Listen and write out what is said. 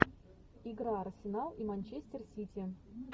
игра арсенал и манчестер сити